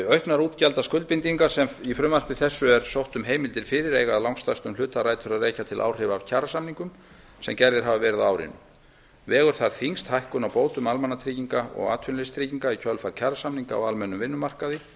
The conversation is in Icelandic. auknar útgjaldaskuldbindingar sem í frumvarpi þessu er sótt um heimildir fyrir eiga að stærstum hluta rætur að rekja til áhrifa af kjarasamningum sem gerðir hafa verið á árinu vegur þar þyngst hækkun á bótum almannatrygginga og atvinnuleysistrygginga í kjölfar kjarasamninga á almennum vinnumarkaði